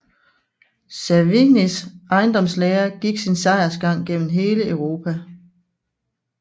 Savignys ejendomslære gik sin sejrsgang gennem hele Europa